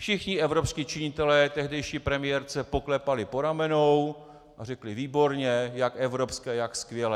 Všichni evropští činitelé tehdejší premiérce poklepali po ramenou a řekli "výborně, jak evropské, jak skvělé".